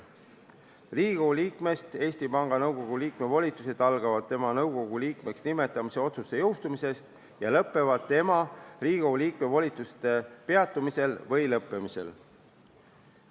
Riigikogu liikmest Eesti Panga Nõukogu liikme volitused algavad siis, kui jõustub tema nõukogu liikmeks nimetamise otsus, ja lõpevad siis, kui tema Riigikogu liikme volitused peatuvad või lõpevad.